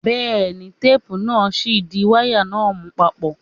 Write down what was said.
Bẹ́ẹ̀ ni, téépù náà ṣì ń di wáyà náà mú papọ̀.